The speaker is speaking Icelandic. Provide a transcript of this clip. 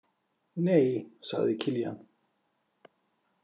Nei, sagði Kiljan.